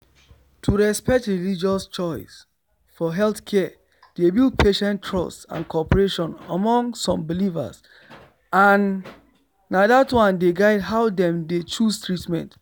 to respect religious choice for healthcare dey build patient trust and cooperation among some believers and na that one dey guide how dem deychoose treatment